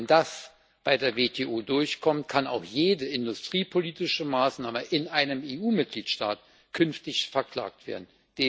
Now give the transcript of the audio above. Wenn das bei der WTO durchkommt, kann auch jede industriepolitische Maßnahme in einem EU Mitgliedstaat künftig verklagt werden.